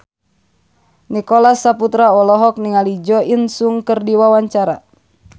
Nicholas Saputra olohok ningali Jo In Sung keur diwawancara